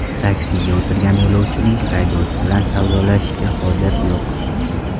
Taksiga o‘tirgan yo‘lovchining haydovchi bilan savdolashishiga hojat yo‘q.